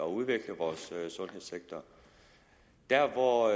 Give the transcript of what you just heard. udvikle vores sundhedssektor der hvor